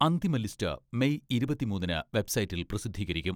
അന്തിമ list May ഇരുപത്തിമൂന്നിന് വെബ്സൈറ്റിൽ പ്രസിദ്ധീകരിക്കും.